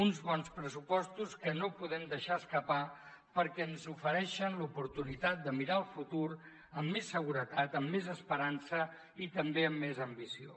uns bons pressupostos que no podem deixar escapar perquè ens ofereixen l’oportunitat de mirar el futur amb més seguretat amb més esperança i també amb més ambició